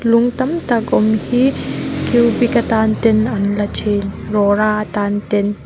lung tam tak awm hi cubic atan ten a la thin rora atan ten.